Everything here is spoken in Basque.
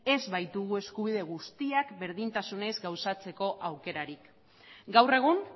ez baitugu eskubide guztiak berdintasunez gauzatzeko aukerarik gaur egun